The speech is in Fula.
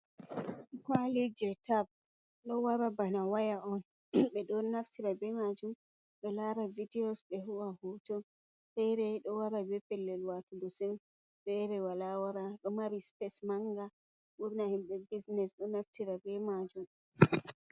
Qali je tab do wara bana waya on. Be do naftira be majum be lara vidiyos, be hoo'a hoton. Fere do wara be pellel watogo sim. Fere wala wara. Do mari sipes manga burna himbe bisines do naftira be majum.